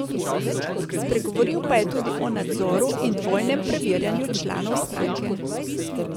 Spregovoril pa je tudi o nadzoru in dvojnem preverjanju članov stranke.